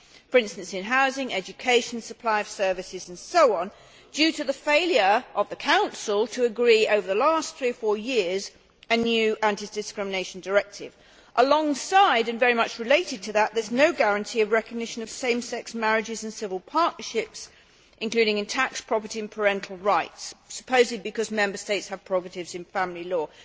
For instance in housing, education, supply of services and so on, due to the failure of the Council to agree over the last three or four years a new anti discrimination directive. Alongside and very much related to that, there is no guarantee of recognition of same sex marriages and civil partnerships, including in tax, property and parental rights, supposedly because Member States have prerogatives in family law.